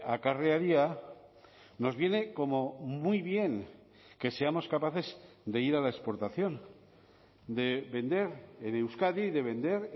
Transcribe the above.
acarrearía nos viene como muy bien que seamos capaces de ir a la exportación de vender en euskadi y de vender